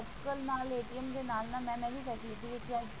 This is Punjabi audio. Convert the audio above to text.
ਅੱਜਕਲ ਨਾਲੇ ਦੇ ਨਾਲ ਨਾਲ